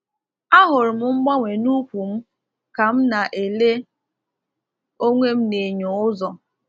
A hụrụ m mgbanwe n’úkwù m ka m na-ele onwe m n’enyo ụzọ.